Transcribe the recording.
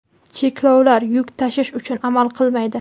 cheklovlar yuk tashish uchun amal qilmaydi.